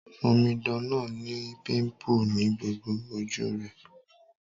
Omidan náà ni pimple ni gbogbo ojú rẹ́